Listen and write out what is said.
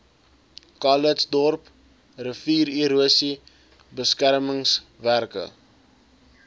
calitzdorp riviererosie beskermingswerke